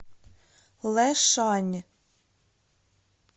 лэшань